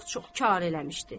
Aclıq çox karə eləmişdi.